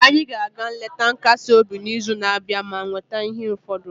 anyị ga-aga nleta nkasi obi n'izu na-abịa ma weta ihe ụfọdụ